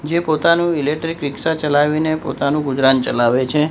જે પોતાનુ ઇલેક્ટ્રિક રિક્ષા ચલાવીને પોતાનુ ગુજરાન ચલાવે છે.